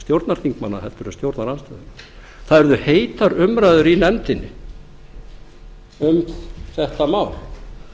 heldur en stjórnarandstæðinga það urðu heitar umræður í nefndinni um þetta mál